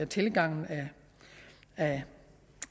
tilgangen af